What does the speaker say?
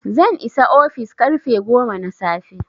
zan isa ofis karfe goma na safe